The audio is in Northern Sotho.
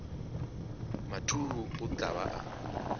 mathuhu o tla ba a